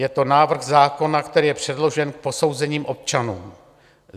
Je to návrh zákona, který je předložen k posouzení občanům.